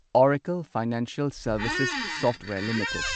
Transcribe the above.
Oracle Financial Services Software limited